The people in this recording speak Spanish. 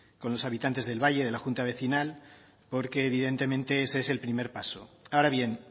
con los habitantes del valle de la junta vecinal porque evidentemente ese es el primer paso ahora bien